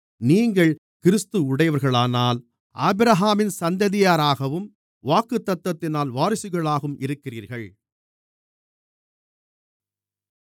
நீங்கள் கிறிஸ்துவுடையவர்களானால் ஆபிரகாமின் சந்ததியாராகவும் வாக்குத்தத்தத்தினால் வாரிசுகளாகவும் இருக்கிறீர்கள்